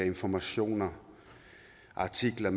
informationer artikler